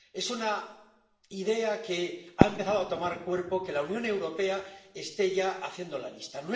Es una idea que ha empezado a tomar cuerpo, la Unión Europea está ya haciendo la lista.